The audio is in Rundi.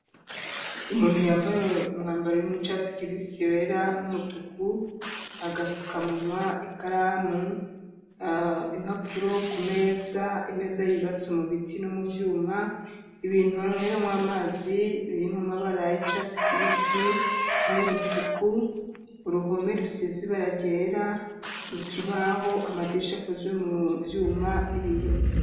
Umuntu yambaye umwambaro urimwo icatsi kibisi wera n'umutuku, agafukamunwa, ikaramu, impapuro ku meza. Imeza y'ubatse mu biti no mu vyuma ibintu banweramwo amazi birimwo amabara y'icatsi kibisi nay'umutuku, uruhome rusize ibara ryera ikibaho amadirisha akozwe mu vyuma n'ibiyo.